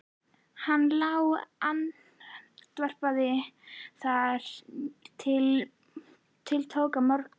Hann lá andvaka þar til tók að morgna.